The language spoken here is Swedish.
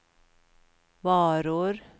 varor